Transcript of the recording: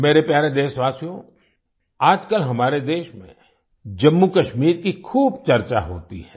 मेरे प्यारे देशवासियो आजकल हमारे देश में जम्मूकश्मीर की खूब चर्चा होती है